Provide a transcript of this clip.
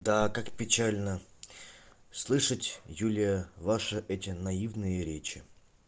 да как печально слышать юлия ваша эти наивные речи